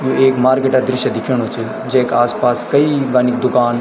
यु एक मार्केट क दृश्य दिख्योंणु च जैका आसपास कई बैनिक दुकान।